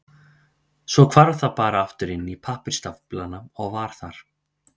Svo hvarf það bara aftur inn í pappírsstaflana og var þar.